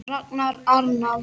Ragnar Arnalds